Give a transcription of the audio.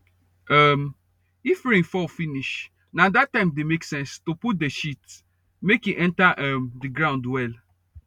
um if rain fall finish na that time dey make sense to put the shit make e enter um the ground well